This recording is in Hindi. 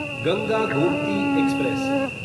गंगा गोमती एक्सप्रेस